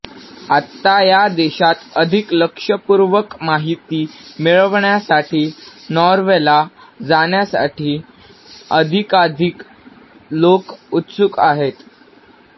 आता या देशात अधिक लक्षपूर्वक माहिती मिळवण्यासाठी नॉर्वेला जाण्यासाठी अधिकाधिक लोक उत्सुक आहेत